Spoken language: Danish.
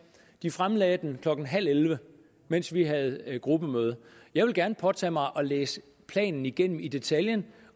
de fremlagde den klokken halv elleve mens vi havde gruppemøde jeg vil gerne påtage mig at læse planen igennem i detaljen